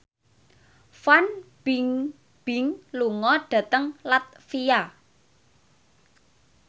Fan Bingbing lunga dhateng latvia